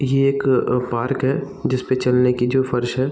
यह एक अ पार्क है जिसपे चलने की जो फर्श है।